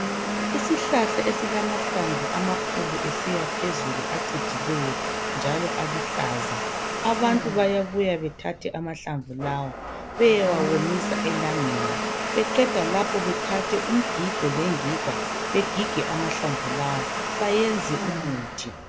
Isihlahla esilamahlamvu amakhulu esiyaphezulu acijileyo, njalo aluhlaza. Abantu bayabuya bethathe amahlamvu lawa. Beyewawomisa elangeni. Beqeda lapho, bethathe umgigo, lengiga. Begige amahlamvu lawa. Bayenze umuthi.